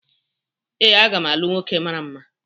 Ee, a ga m alụ nwoke mara mma